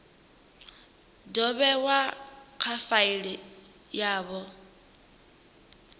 do vhewa kha faili yavho